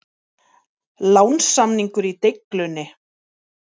Lánssamningur í deiglunni?